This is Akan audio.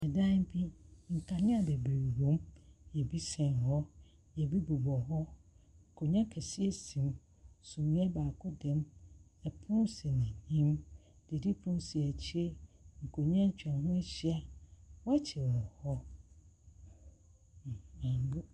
Dan bi, nkanea bebree wɔ mu. Ɛbi sɛn hɔ, ɛbi bi bɔ hɔ. Akonnwa akɛseɛ si mu. Sumiiɛ baako da mu. Pono si n'anim. Didi pono si akyere. Nkonnwa akwaho ahyia. Wɔn akyi no wɔ m mb .